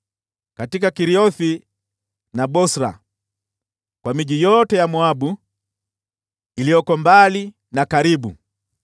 katika Keriothi na Bosra; kwa miji yote ya Moabu, iliyoko mbali na karibu.